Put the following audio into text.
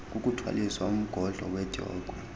kukuthwaliswa umgodlo wedyokhwe